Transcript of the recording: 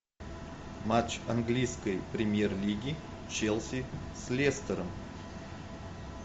матч английской премьер лиги челси с лестером